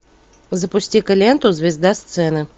запусти ка ленту звезда сцены